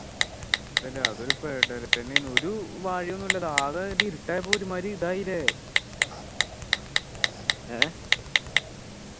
എന്താല്ലേ അത് ഒരു പെടൽ എന്നെ ആയിരുന്നു ഒരു വഴിയൊന്നുമില്ല ഇത് ആകെ ഇരുട്ട് ആയപ്പോ ഒരുമാതിരി ഇതായില്ലേ ഏർ